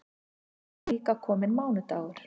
Þá var líka kominn mánudagur.